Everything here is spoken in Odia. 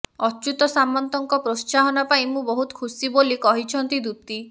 ଅଚ୍ୟୁତ ସାମନ୍ତଙ୍କ ପ୍ରୋତ୍ସାହନ ପାଇଁ ମୁଁ ବହୁତ ଖୁସି ବୋଲି କହିଛନ୍ତି ଦୂତୀ